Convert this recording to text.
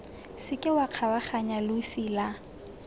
seke wa kgabaganya losi la